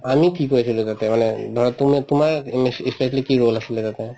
আমি কি কৰি আছিলো তাতে মানে ধৰক তুমি তোমাৰ ই specially কি role আছিলে তাতে